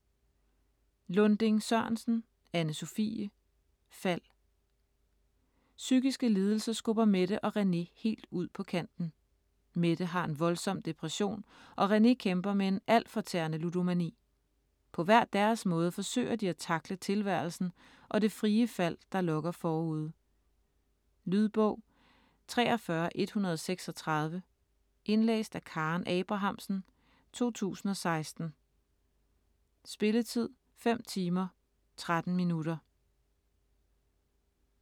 Lunding-Sørensen, Anne-Sophie: Fald Psykiske lidelser skubber Mette og René helt ud på kanten. Mette har en voldsom depression og René kæmper med en altfortærende ludomani. På hver deres måde forsøger de at tackle tilværelsen og det frie fald, der lokker forude. Lydbog 43136 Indlæst af Karen Abrahamsen, 2016. Spilletid: 5 timer, 13 minutter.